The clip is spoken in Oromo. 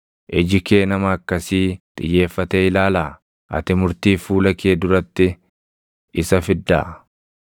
Iji kee nama akkasii xiyyeeffatee ilaalaa? Ati murtiif fuula kee duratti isa fiddaa?